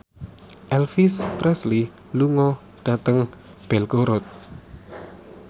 Elvis Presley lunga dhateng Belgorod